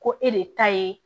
Ko e de ta ye